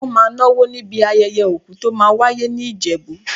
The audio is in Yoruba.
Wọ́n máa náwó níbi ayẹyẹ òkú tó máa wáyé ní Ìjẹ̀bú.